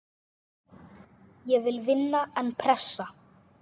Ég vil vinna, en pressa?